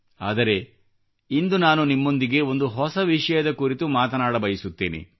ಆದರೆ ಇಂದು ನಾನು ನಿಮ್ಮೊಂದಿಗೆ ಒಂದು ಹೊಸ ವಿಷಯದ ಕುರಿತು ಮಾತನಾಡಬಯಸುತ್ತೇನೆ